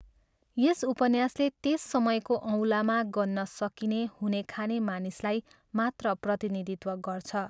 यस उपन्यासले त्यस समयको औँलामा गन्न सकिने हुनेखाने मानिसलाई मात्र प्रतिनिधित्व गर्छ।